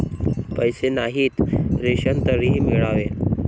पैसे नाहीत, रेशन तरी मिळावे